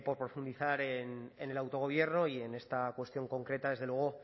por profundizar en el autogobierno y en esta cuestión concreta desde luego